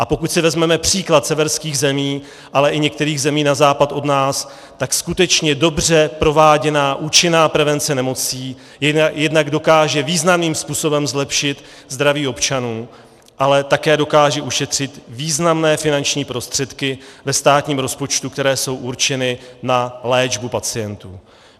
A pokud si vezmeme příklad severských zemí, ale i některých zemí na západ od nás, tak skutečně dobře prováděná účinná prevence nemocí jednak dokáže významným způsobem zlepšit zdraví občanů, ale také dokáže ušetřit významné finanční prostředky ve státním rozpočtu, které jsou určeny na léčbu pacientů.